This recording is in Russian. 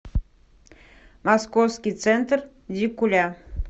московский центр дикуля